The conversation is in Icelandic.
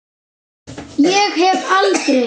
Ég hef aldrei.